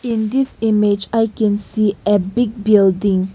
in this image i can see a big building.